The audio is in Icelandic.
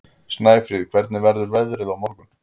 Snæfríð, hvernig verður veðrið á morgun?